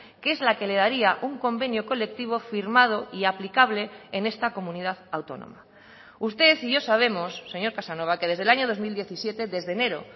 que es la que le daría un convenio colectivo firmado y aplicable en esta comunidad autónoma usted y yo sabemos señor casanova que desde el año dos mil diecisiete desde enero